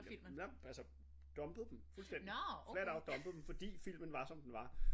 Nej men altså dumpede dem fuldstændig flat out dumpede dem fordi filmen var som den var